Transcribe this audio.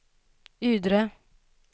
Ydre